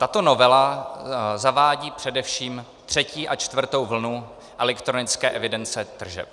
Tato novela zavádí především třetí a čtvrtou vlnu elektronické evidence tržeb.